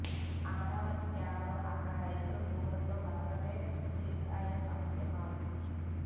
అమరావతి కేవలం అక్కడి రైతుల భూములతో మాత్రమే లింక్ అయిన సమస్య కాదు